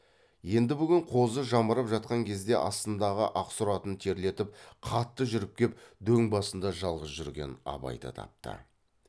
енді бүгін қозы жамырап жатқан кезде астындағы ақсұр атын терлетіп қатты жүріп кеп дөң басында жалғыз жүрген абайды тапты